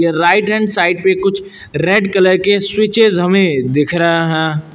Right hand side पे कुछ red colour के स्विचेस हमें दिख रहा हैं।